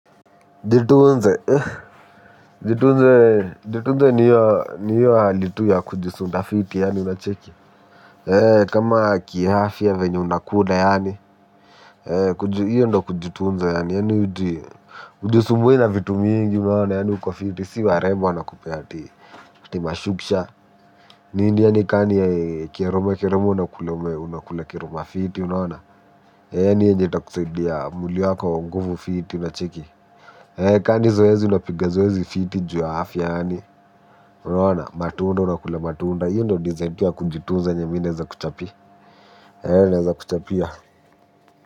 Jitunze. Jitunze ni hiyo hali tu ya kujisunda fiti yaani unacheki. Kama kiafya venye unakula yaani, hio ndo kujitunze yaani yaani hujisumbui na vitu mingi unaona yaani uko fiti si warembo wanakupea ati mashuksha. Nini yaani kani kiroma kiroma unakula unakula kiroma fiti unaona yaani yaani yenye itakusaidia mwili wako nguvu fiti unacheki. Ee ka ni zoezi unapiga zoezi fiti juu ya afya yaani unaona matunda unakula matunda hiyo ndo design tu ya kujitunza yenye mimi naeza kuchapia e naeza kuchapia.